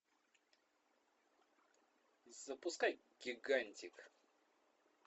запускай гигантик